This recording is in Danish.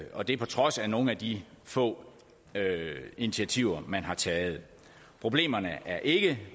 og det er på trods af nogle af de få initiativer man har taget problemerne er ikke